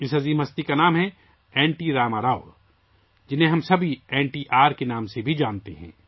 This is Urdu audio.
اس عظیم شخصیت کا نام ہے ، این ٹی راما راؤ ، جنہیں ہم سب این ٹی آر کے نام سے جانتے ہیں